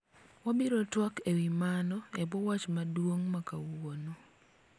wabiro twak ewi mano ebwo wach maduong' ma kawuono